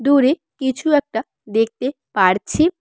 দূরে কিছু একটা দেখতে পারছি।